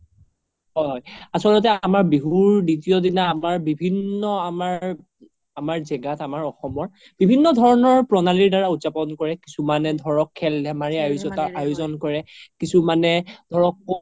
হয় আচল্তে আমাৰ বিহুৰ দিতিয় দিনা আমাৰ বিভিন্ন আমাৰ, আমাৰ জেগাত আমাৰ অসমৰ বিভিন্ন ধৰণৰ প্ৰনালিৰ দাৰা উদযাপন কৰে কিছুমানে ধৰক খেল ধেমালি আয়োজন কৰে কিছুমানে ধৰক